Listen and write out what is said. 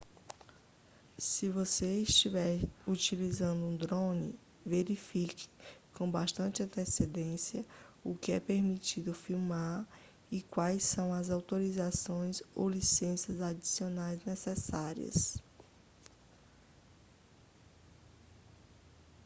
se você estiver utilizando um drone verifique com bastante antecedência o que é permitido filmar e quais são as autorizações ou licenças adicionais necessárias